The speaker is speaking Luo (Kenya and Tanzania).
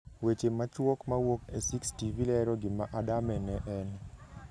Weche machuok mawuok e 6TV, lero gima Adame ne en: